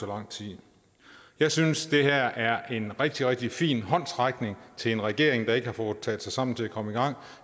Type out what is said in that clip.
lang tid jeg synes det her er en rigtig rigtig fin håndsrækning til en regering der ikke har fået taget sig sammen til at komme i gang og